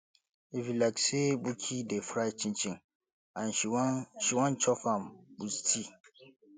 e be like sey buki dey fry chinchin and she wan she wan chop am with tea